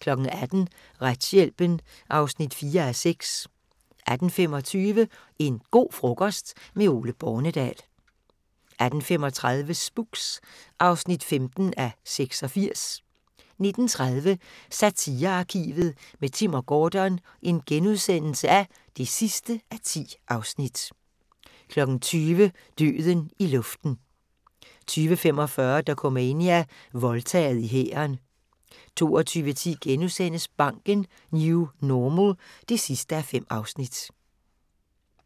18:00: Retshjælpen (4:6) 18:25: En go' frokost - med Ole Bornedal 18:35: Spooks (15:86) 19:30: Satirearkivet – med Timm & Gordon (10:10)* 20:00: Døden i luften 20:45: Dokumania: Voldtaget i hæren 22:10: Banken - New Normal (5:5)*